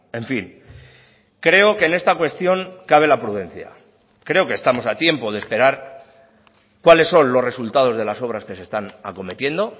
en fin creo que en esta cuestión cabe la prudencia creo que estamos a tiempo de esperar cuáles son los resultados de las obras que se están acometiendo